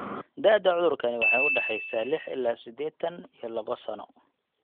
Da'da cudurkani waxay u dhaxaysaa lix ilaa sidetan iyo laba sano.